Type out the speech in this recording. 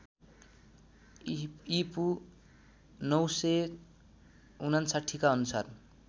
ईपू ९५९ का अनुसार